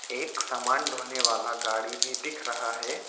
एक सामान ढोने वाला गाड़ी भी दिख रहा है।